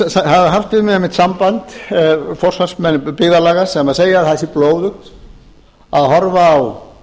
það hafa haft við mig einmitt samband forsvarsmenn byggðarlaga sem segja að það sé blóðugt að horfa á